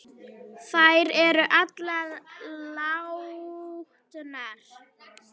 Þær eru allar látnar.